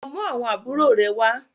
lọ mú àwọn àbúrò rẹ wá!